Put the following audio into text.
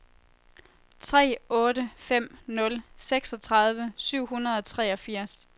tre otte fem nul seksogtredive syv hundrede og treogfirs